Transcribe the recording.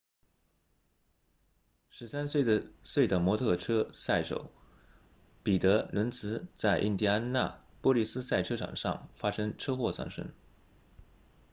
13岁的摩托车赛车手彼得伦茨在印第安纳波利斯赛车场上发生车祸丧生